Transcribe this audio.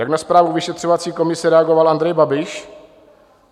Jak na zprávu vyšetřovací komise reagoval Andrej Babiš?